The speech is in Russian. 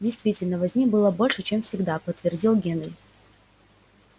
действительно возни было больше чем всегда подтвердил генри